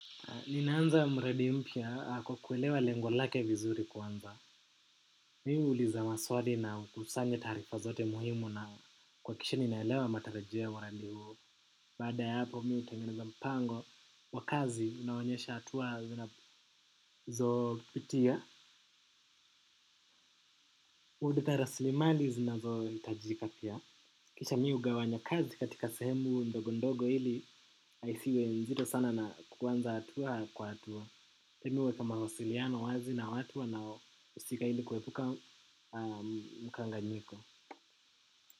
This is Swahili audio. Ninaanza mradi mpya kwa kuelewa lengo lake vizuri kwanza. Mi huuliza maswali na kusanye tarifa zote muhimu na kwa kisha ninaelewa matarajio ya mradi huo. Baada ya hapo mi hutengeneza mpango wakazi inaonyesha hatua zinazo pitia. Udita raslimali zinazo hitajika pia. Kisha mi hugawanya kazi katika sehemu ndogondogo ili aisiwe nzito sana na kwanza hatua kwa hatua. Mimi huweka wasiliano wazi na watu wanao husika ili kuepuka mkanganyiko.